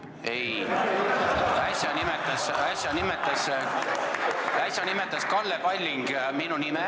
Ei, äsja nimetas Kalle Palling minu nime.